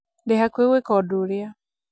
ndĩ hakuhĩ gwĩka ũndũ ũrĩa